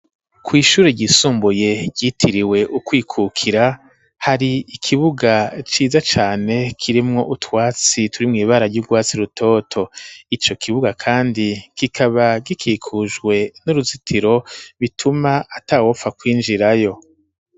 Kw'ishure ryisumbuye, ryitiriwe ukwikukira, hari ikibuga ciza cane, kirimwo utwatsi, turi mw’ibara, ry'urwatsi rutoto; ico kibuga kandi, kikaba gikikujwe n'uruzitiro, bituma atawopfa kwinjirayo.